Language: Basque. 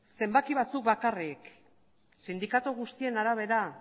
zenbaki batzuk bakarrik sindikatu guztien arabera